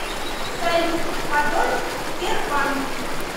салют подольск тербанк